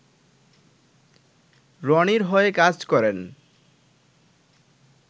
রনির হয়ে কাজ করেন